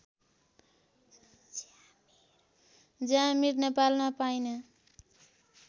ज्यामीर नेपालमा पाइने